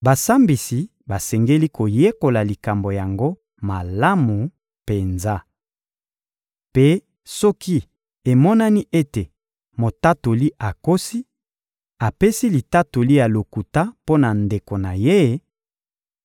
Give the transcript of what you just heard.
Basambisi basengeli koyekola likambo yango malamu penza. Mpe soki emonani ete motatoli akosi, apesi litatoli ya lokuta mpo na ndeko na ye;